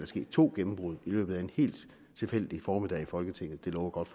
sket to gennembrud i løbet af en helt tilfældig formiddag i folketinget det lover godt